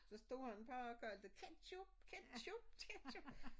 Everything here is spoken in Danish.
Så stod han bare og kaldte ketchup ketchup ketchup!